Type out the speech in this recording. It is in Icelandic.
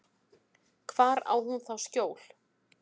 Hvar á hún þá skjól?